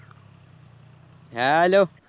Hello